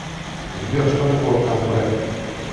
сбер что такое камбре